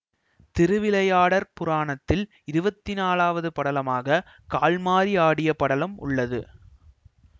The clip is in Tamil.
திருவிளையாடற் புராணத்தில் இருவத்தி நாலாவது படலமாக கால் மாறி ஆடிய படலம் உள்ளது